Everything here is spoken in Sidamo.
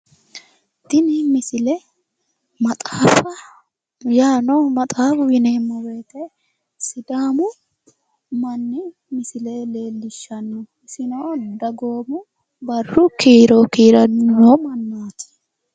Tini misilete maxaafa yaano, maxaafu yineemmo woyiite sidaamu manni misile leellishshanno, isino dagoommu barru kiiro kiirranniho.